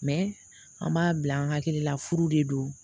an b'a bila an hakili la furu de don